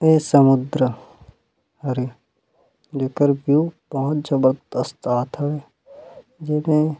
ए समुन्द्र हरे जेकर व्यू बहुत जबरदस्त आत हवे जेमे--